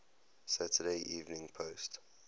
saturday evening post